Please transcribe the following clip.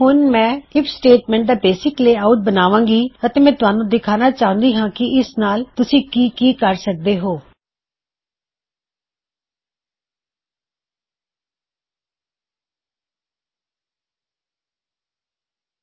ਹੁਣ ਮੈਂ if statement ਦਾ ਬੇਸਿਕ ਲੇਆਉਟ ਬਣਾਵਾਂ ਗੀ ਅਤੇ ਮੈ ਤੁਹਾਨੂੰ ਦਿਖਾਣਾ ਚਾਹੁੰਦੀ ਹਾਂ ਕੀ ਇਸ ਨਾਲ ਤੁਸੀਂ ਕੀ ਕੀ ਕਰ ਸਕਦੇ ਹੋਂ